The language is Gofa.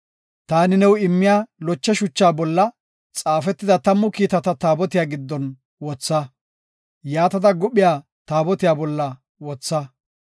Taani new immiya loche shucha bolla xaafetida tammu kiitata Taabotiya giddon wotha. Yaatada, guphiya Taabotiya bolla wotha.